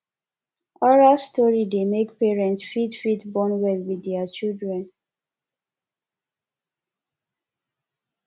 oral story dey make parents fit fit bond well with their children